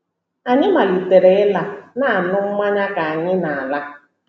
Anyị malitere ịla — na - aṅụ mmanya ka anyị na - ala.